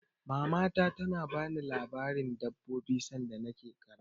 Mamata ta na bani labaren dabbobi sanda na ke ƙarama